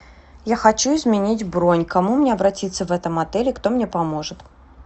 я хочу изменить бронь к кому мне обратиться в этом отеле кто мне поможет